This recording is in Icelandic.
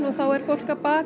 er fólk að baka